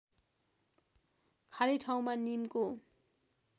खाली ठाउँमा निमको